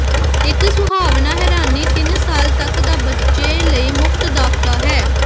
ਇੱਕ ਸੁਹਾਵਣਾ ਹੈਰਾਨੀ ਤਿੰਨ ਸਾਲ ਤੱਕ ਦਾ ਬੱਚੇ ਲਈ ਮੁਫ਼ਤ ਦਾਖਲਾ ਹੈ